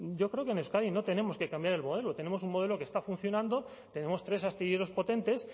yo creo que en euskadi no tenemos que cambiar el modelo tenemos un modelo que está funcionando tenemos tres astilleros potentes